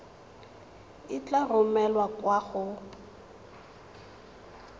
e tla romelwa kwa go